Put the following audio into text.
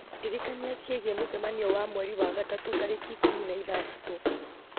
ndirikania ciĩgiĩ mũcemanio wa mweri wa gatatũ tarĩki ikũmi na ithatatũ